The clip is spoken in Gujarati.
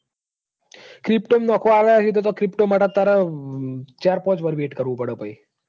Crypto માં નાખવા આલ્યા હોયતો pto માટે તાર ચાર પોંચ વરસ wait કરવું પડ પહી.